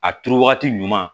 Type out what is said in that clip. A turu wagati ɲuman